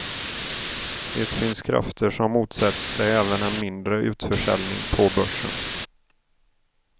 Det finns krafter som motsätter sig även en mindre utförsäljning på börsen.